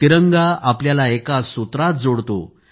तिरंगा आपल्याला एका सूत्रात जोडतो